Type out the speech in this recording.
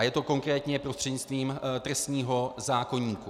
A je to konkrétně prostřednictvím trestního zákoníku.